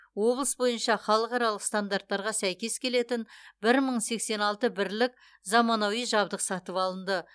облыс бойынша халықаралық стандарттарға сәйкес келетін бір мың сексен алты бірлік заманауи жабдық сатып алынды